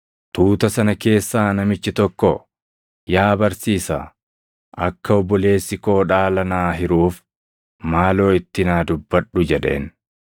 Tuuta sana keessaa namichi tokko, “Yaa Barsiisaa, akka obboleessi koo dhaala naa hiruuf maaloo itti naa dubbadhu” jedheen.